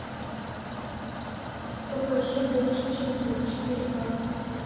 покажи больше чем друг четыре ка